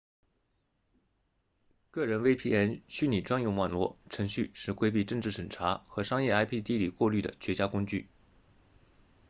个人 vpn 虚拟专用网络程序是规避政治审查和商业 ip 地理过滤的绝佳工具